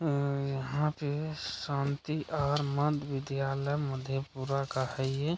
अ यहाँ पे शांति और मध्य विद्यालय मधेपुरा का है ये।